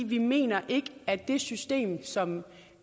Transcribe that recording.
vi mener ikke at det system som